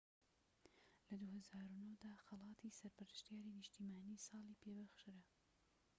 لە ٢٠٠٩ دا خەڵاتی سەرپەرشتیاری نیشتیمانیی ساڵی پێ بەخشرا